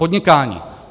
Podnikání.